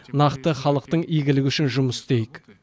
нақты халықтың игілігі үшін жұмыс істейік